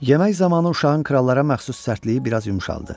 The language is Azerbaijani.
Yemək zamanı uşağın krallara məxsus sərtliyi biraz yumşaldı.